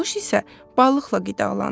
bu quş isə balıqla qidalanır.